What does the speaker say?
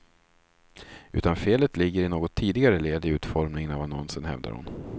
Utan felet ligger i något tidigare led i utformningen av annonsen, hävdar hon.